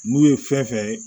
N'u ye fɛn fɛn